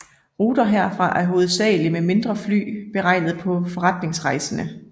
Ruter herfra er hovedsagelig med mindre fly beregnet på forretningsrejsende